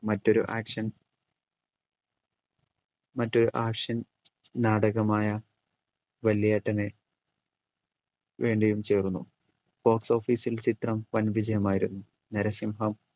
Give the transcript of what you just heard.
മറ്റൊരു action മറ്റൊരു action നാടകമായ വല്യേട്ടന് വേണ്ടിയും ചേർന്നു box office ൽ ചിത്രം വൻവിജയമായിരുന്നു നരസിംഹം